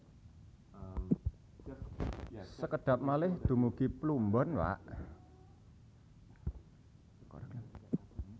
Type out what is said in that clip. Sekedhap malih dumugi Pluombon Pak